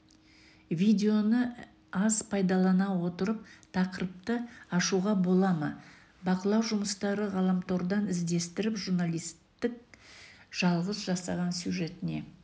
видеоны аз пайдалана отырып тақырыпты ашуға бола ма бақылау жұмыстары ғаламтордан іздестіріп журналисттің жалғыз жасаған сюжетіне